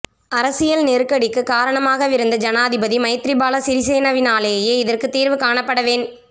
அரசியல் நெருக்கடிக்கு காரணமாகவிருந்த ஜனாதிபதி மைத்திரிபால சிறிசேனவினாலேயே இதற்கு தீர்வு காணப்பட வேண்